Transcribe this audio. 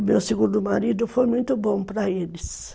O meu segundo marido foi muito bom para eles.